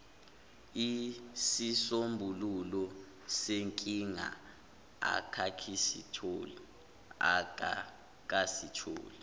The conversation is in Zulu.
isisombululo senkinga akakasitholi